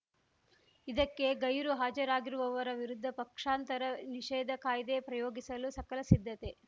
ಇದಕ್ಕೆ ಗೈರು ಹಾಜರಾಗಿರುವವರ ವಿರುದ್ಧ ಪಕ್ಷಾಂತರ ನಿಷೇಧ ಕಾಯ್ದೆ ಪ್ರಯೋಗಿಸಲು ಸಕಲ ಸಿದ್ಧತೆ